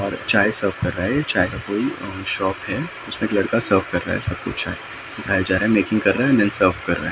और चाय सर्व कर रहा है चाय को कोई अम्म शॉप है उसमे एक लड़का सर्व कर रहा है सब को चाय दिखाया जा रहा है मेकिंग कर रहा है मेेन सर्व कर रहा है ।